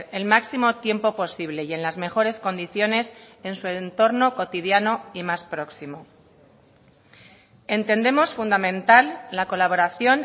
el máximo tiempo posible y en las mejores condiciones en su entorno cotidiano y más próximo entendemos fundamental la colaboración